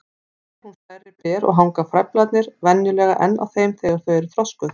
Ber hún stærri ber og hanga frævlarnir venjulega enn á þeim þegar þau eru þroskuð.